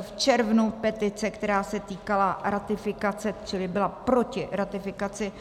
V červnu petice, která se týkala ratifikace, čili byla proti ratifikaci